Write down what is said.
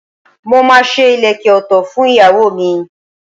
Mo máa ṣe ìlékè òtò fún ìyàwó mi.